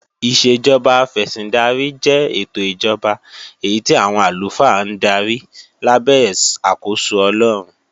Ìṣèjọba afẹ̀sìndarí jẹ́ ètò ìjọba èyí tí àwọn àlùfáà ń darí lábẹ́ àkóso Ọlọ́run